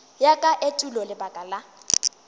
ya ka etulo lebaka la